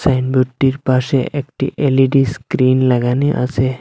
সাইনবোর্ডটির পাশে একটি L E D screen লাগানি আসে।